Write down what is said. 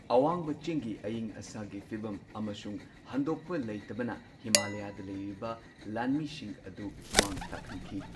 ꯑꯋꯥꯡꯕ ꯆꯤꯡꯒꯤ ꯑꯌꯤꯡ ꯑꯁꯥꯒꯤ ꯐꯤꯚꯝ ꯑꯃꯁꯨꯡ ꯍꯟꯗꯣꯛꯄ ꯂꯩꯇꯕꯅ ꯍꯤꯃꯥꯂꯌꯥꯗ ꯂꯩꯔꯤꯕ ꯂꯥꯟꯃꯤꯁꯤꯡ ꯑꯗꯨ ꯃꯥꯡ ꯇꯥꯛꯍꯟꯈꯤ꯫